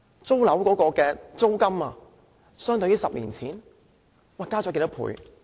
租金相對10年前增加多少倍？